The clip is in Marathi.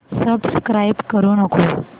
सबस्क्राईब करू नको